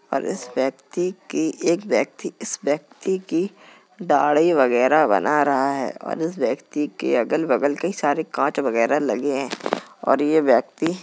और इस व्यक्ति की एक व्यक्ति इस व्यक्ति के दाढ़ी वगैरह बना रहा है और इस व्यक्ति के अगल-बगल कई सारे काँच वगैरह लगे हैं और इस व्यक्ति --